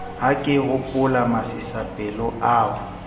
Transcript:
ha ke hopola masisapelo ao